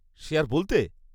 -সে আর বলতে?